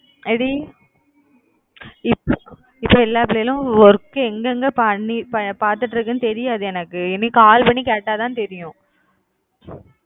ஏன்டி இப்போ எல்லா பிள்ளைகளும் work எங்க எங்க பார்த்துட்டு இருக்காங்க தெரியாது எனக்கு இனி call பண்ணி கேட்டா தான் தெரியும்